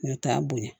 N'o t'a bonya